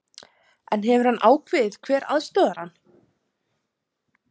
En hefur hann ákveðið hver aðstoðar hann?